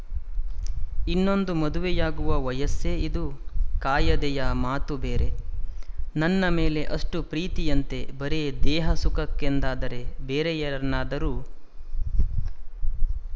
ಇನ್ನೊಂದು ಮದುವೆಯಾಗುವ ವಯಸ್ಸೇ ಇದು ಕಾಯದೆಯ ಮಾತು ಬೇರೆ ನನ್ನ ಮೇಲೆ ಅಷ್ಟು ಪ್ರೀತಿಯಂತೆ ಬರೇ ದೇಹ ಸುಖಕ್ಕೆಂದಾದರೆ ಬೇರೆ ಯಾರನ್ನಾದರೂ